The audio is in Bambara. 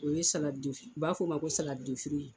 O ye u b'a fɔ o ma ko